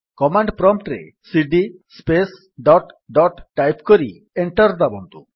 command prompt ରେ cd space dot dot type କରି enter ଦାବନ୍ତୁ